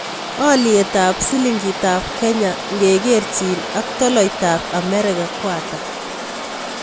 Alyetap silingiitap Kenya ngekerchin aktolaitap Amerika ko ata